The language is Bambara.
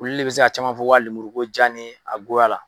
Olu de bɛ se ka caman fɔ lemuru ko diya ni a goya la.